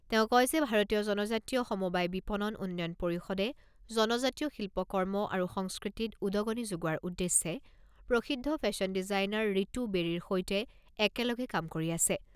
তেওঁ কয় যে ভাৰতীয় জনজাতীয় সমবায় বিপণন উন্নয়ন পৰিষদে জনজাতীয় শিল্পকৰ্ম আৰু সংস্কৃতিত উদগনি যোগোৱাৰ উদ্দেশ্যে প্ৰসিদ্ধ ফেশ্বন ডিজাইনাৰ ৰীতু বেৰীৰ সৈতে একেলগে কাম কৰি আছে।